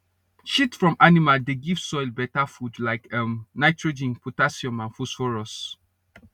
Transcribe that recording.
shit from animal dey give soil better food like um nitrogen potassium and phosphorus